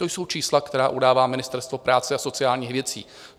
To jsou čísla, která udává Ministerstvo práce a sociálních věcí.